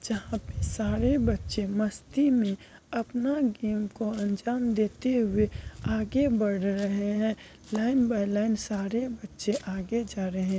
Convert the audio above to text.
जहाँ पे सारे बच्चे मस्ती में अपना गेम को अंजाम देते हुए आगे बढ़ रहे हैं लाईन ब लाईन सारे बच्चे आगे जा रहे--